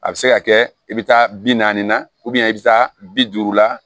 A bɛ se ka kɛ i bɛ taa bi naani na i bɛ taa bi duuru la